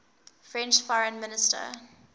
french foreign minister